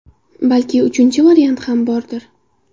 Balki uchinchi variant ham bordir?